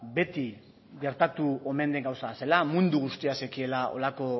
beti gertatu omen den gauza bat zela mundu guztiak zekiela honelako